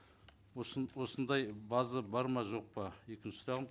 осындай база бар ма жоқ па екінші сұрағым